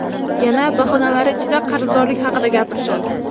Yana bahonalari ichida qarzdorlik haqida gapirishadi.